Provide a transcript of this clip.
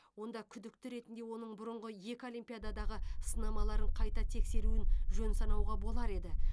онда күдікті ретінде оның бұрыңғы екі олимпиададағы сынамаларын қайта тексеруін жөн санауға болар еді